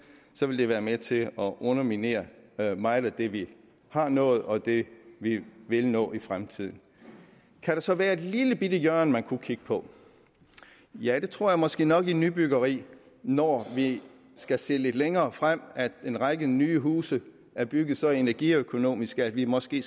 ville være med til at underminere meget af det vi har nået og det vi vil nå i fremtiden kan der så være et lillebitte hjørne man kunne kigge på ja det tror jeg måske nok i nybyggeri når vi skal se lidt længere frem og en række nye huse er bygget så energiøkonomisk skal vi måske